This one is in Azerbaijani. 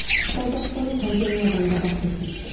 Qazaxıstana pandemiyadan qabaq getmişdi.